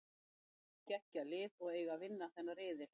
Þær eru með geggjað lið og eiga að vinna þennan riðil.